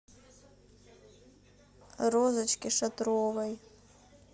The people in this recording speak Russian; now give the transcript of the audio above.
розочке шатровой